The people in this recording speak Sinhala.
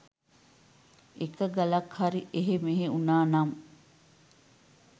එක ගලක් හරි එහෙ මෙහෙ වුනා නම්